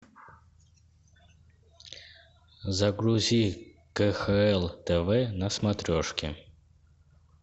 загрузи кхл тв на смотрешке